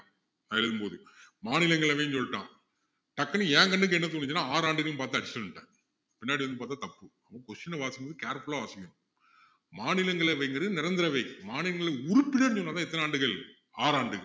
நான் எழுதும் போது மாநிலங்களவைன்னு சொல்லிட்டான் டக்குன்னு என் கண்ணுக்கு என்ன தோணுச்சுன்னா ஆறு ஆண்டுகள்னு பாத்தாச்சு சொல்லிட்டேன் பின்னாடி வந்து பாத்தா தப்பு முதல்ல question அ வாசிக்கும் போது careful ஆ வாசிக்கணும் மாநிலங்களவைங்கிறது நிரந்தர அவை மாநிலங்களின் உறுப்பினர்கள்னுசொன்னாதான் எத்தனை ஆண்டுகள் ஆறு ஆண்டுகள்